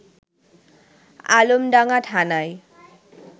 আলমডাঙ্গা থানায়